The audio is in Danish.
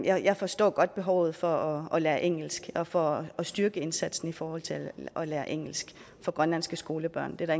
jeg forstår godt behovet for at lære engelsk og for at styrke indsatsen i forhold til at lære engelsk for grønlandske skolebørn det er